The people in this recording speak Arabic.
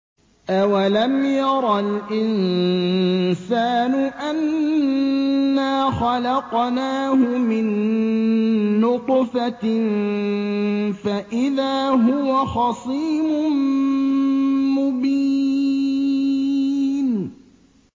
أَوَلَمْ يَرَ الْإِنسَانُ أَنَّا خَلَقْنَاهُ مِن نُّطْفَةٍ فَإِذَا هُوَ خَصِيمٌ مُّبِينٌ